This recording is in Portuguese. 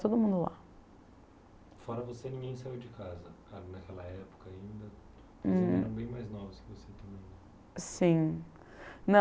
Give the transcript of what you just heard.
todo mundo lá. Fora você, ninguém saiu de casa naquela época ainda, os outros eram bem mais novos que você também. Sim, não